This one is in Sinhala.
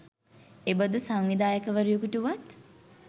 එබඳු සංවිධායක වරයකුට වුවත්,